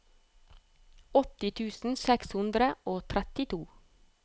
åtti tusen seks hundre og trettito